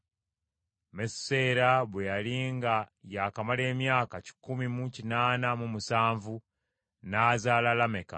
Mesuseera bwe yali nga yaakamala emyaka kikumi mu kinaana mu musanvu n’azaala Lameka.